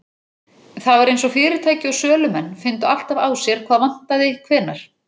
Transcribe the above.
Það var eins og fyrirtæki og sölumenn fyndu alltaf á sér hvað vantaði hvenær.